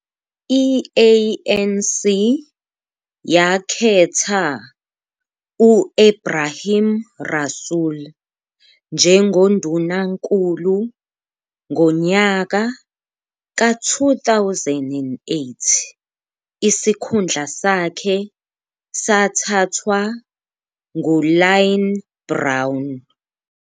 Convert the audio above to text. I-ANC yakhetha u-Ebrahim Rasool njengoNdunankulu, ngonyaka ka-2008 isikhundla sakhe sathathwa nguLynne Brown.